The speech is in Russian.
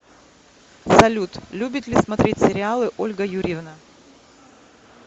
салют любит ли смотреть сериалы ольга юрьевна